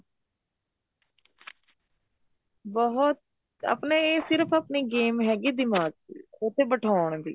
ਬਹੁਤ ਆਪਣੇ ਸਿਰਫ ਆਪਣੇ game ਹੈਗੀ ਦਿਮਾਗ ਦੀ ਉੱਥੇ ਬਿਠਾਉਣ ਦੀ